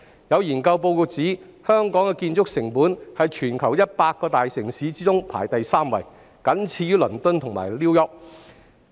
有研究報告指，香港的建築成本在全球100個大城市中排行第三，僅次於倫敦和 New York。